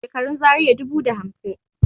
Shekarun Zaria dubu da hamsin